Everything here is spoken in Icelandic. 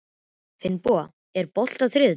Finnboga, er bolti á þriðjudaginn?